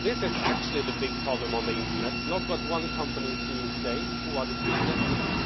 This is actually the big problem on the internet not what one company is doing today or what it did yesterday.